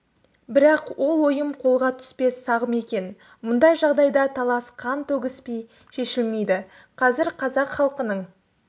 бірақ ол ойым қолға түспес сағым екен мұндай жағдайда талас қан төгіспей шешілмейді қазір қазақ халқының